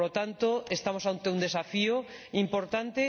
Por lo tanto, estamos ante un desafío importante.